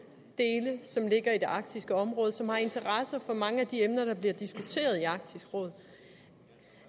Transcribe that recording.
dele som ligger i det arktiske område og som har interesse i mange af de emner der bliver diskuteret i arktisk råd